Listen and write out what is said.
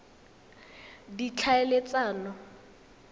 ditlhaeletsano